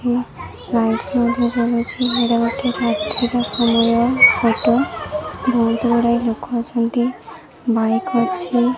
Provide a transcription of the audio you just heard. ଏ rides ମଧ୍ଯ ଚଲଉଛନ୍ତି photo ବହୁତ ଗୁଡାଏ ଲୁକ ଅଛନ୍ତି ବାଇକ ଅଛି।